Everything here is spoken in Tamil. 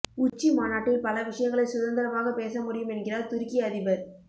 உச்சி மாநாட்டில் பல விஷயங்களை சுதந்திரமாகப் பேச முடியும் என்கிறார் துருக்கி அதிபர்